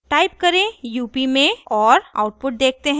type करें up में और आउटपुट देखते हैं